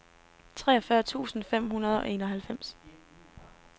treogfyrre tusind fem hundrede og enoghalvfems